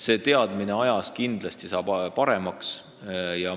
Need hinnangud aja jooksul kindlasti muutuvad täpsemaks.